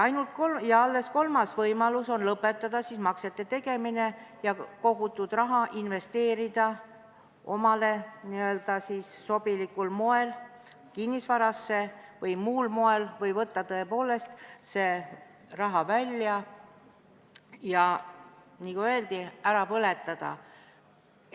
Alles kolmas võimalus on lõpetada maksete tegemine ja kogutud raha investeerida omale sobilikul moel kinnisvarasse või muul moel, või võtta tõepoolest see raha välja, ja nagu öeldi, ära põletada.